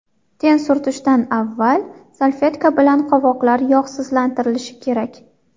Ten surtishdan avval salfetka bilan qovoqlar yog‘sizlantirilishi kerak.